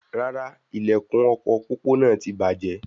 Rárá, ilẹkùn ọkọ pópó náà tí bàjẹ́